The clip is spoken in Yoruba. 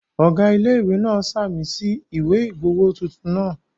Ọ̀gá ilé-ìwé náà ṣàmì sí ìwé ìgbowó tuntun náà